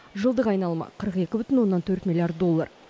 жылдық айналымы қырық екі бүтін оннан төрт миллиард доллар